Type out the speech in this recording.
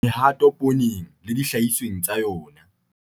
Mehato pooneng le dihlahisweng tsa yona